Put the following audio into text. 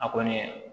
A kɔni